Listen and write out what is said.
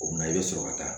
O kuma i bɛ sɔrɔ ka taa